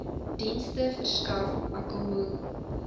dienste verskaf akkommo